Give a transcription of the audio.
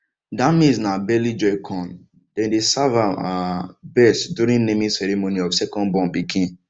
that maize na belly joy corn dem dey serve am um best during naming ceremony of second born pikin